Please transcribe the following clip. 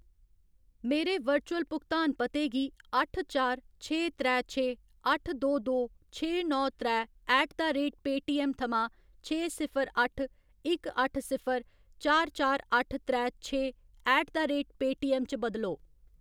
मेरे वर्चुअल भुगतान पते गी अट्ठ चार छे त्रै छे अट्ठ दो दो छे नौ त्रै ऐट द रेट पेऽटीऐम्म थमां छे सिफर अट्ठ इक अट्ठ सिफर चार चार अट्ठ त्रै छे ऐट द रेट पेऽटीऐम्म च बदलो।